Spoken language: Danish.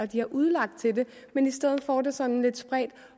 de har udlagt til det men i stedet får det sådan lidt spredt